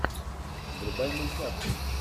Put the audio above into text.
врубай мультяшку